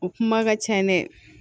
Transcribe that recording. O kuma ka ca dɛ